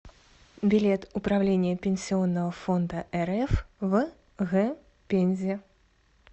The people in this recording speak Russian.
билет управление пенсионного фонда рф в г пензе